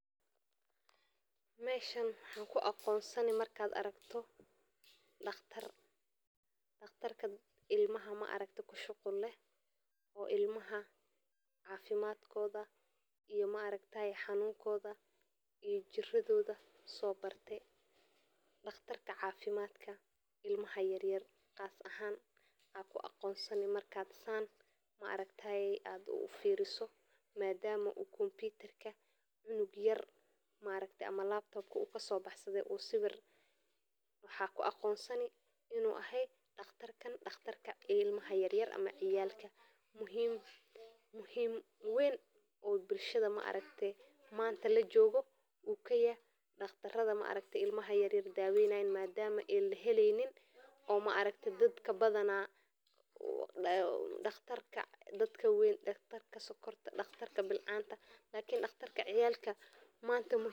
Meshannwaxan ku aqonsani markan arko daqtar daqtarka ilmaha kushuqul leh oo ilmaha cafimaad kodha iyo maragtaye xanunkodha iyo jiradhoda so barte daqtarka cafimadka ilmaha yar yar qas ahan maxaa ku aqon sani marka san maragtaye aad ufiriso madama u konbitarka u cunug yar u kaso baxsade u siwir waxaa ku aqonsani in u yahay daqtarkan daqtarka ilmaha yar yar ama ciyalka muhiim weyn ayu kayaha bulshaada hada lajogo daqtaraada ilmaha yar yar daweynayan madama laheleynin aragti dadka badana daqtarka dadka wawen daqtarka dadka sokorta daqtarka bilcanta lakin daqtarka ciyalka manta muhiim waye.